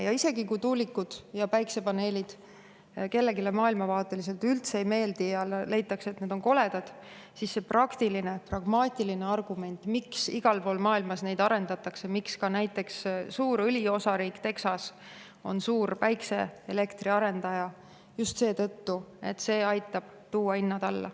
Ja isegi kui tuulikud ja päikesepaneelid kellelegi maailmavaateliselt üldse ei meeldi ja leitakse, et need on koledad, siis see praktiline, pragmaatiline argument, miks igal pool maailmas neid arendatakse, miks ka näiteks suur õliosariik Texas on suur päikeseelektri arendaja, on just see, et see aitab tuua hinnad alla.